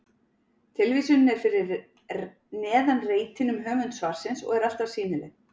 Tilvísunin er fyrir neðan reitinn um höfund svarsins og er alltaf sýnileg.